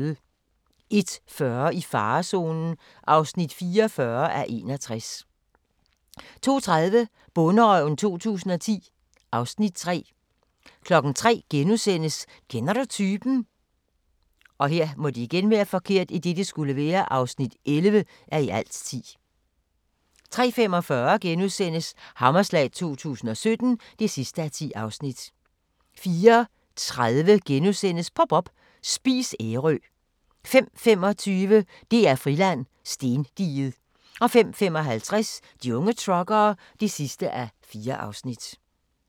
01:40: I farezonen (44:61) 02:30: Bonderøven 2010 (Afs. 3) 03:00: Kender du typen? (11:10)* 03:45: Hammerslag 2017 (10:10)* 04:30: Pop up – Spis Ærø (1:3)* 05:25: DR-Friland: Stendiget 05:55: De unge truckere (4:4)